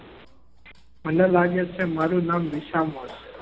મને લાગે છે મારું નામ વિસામો છે.